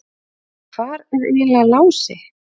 En hvar er eiginlega Lási?